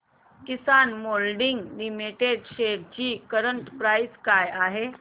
किसान moulding limited shares ची current price काय आहे